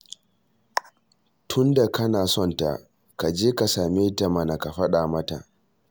Tunda kana son ta, ka je ka same ta mana ka faɗa mata